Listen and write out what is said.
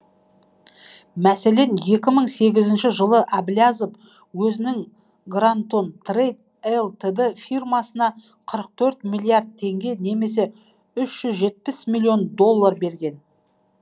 мәселен екі мың сегізінші жылы әблязов өзінің грантон трэйд элтд фирмасына қырық төрт миллиард теңге немесе үш жүз жетпіс миллион доллар берген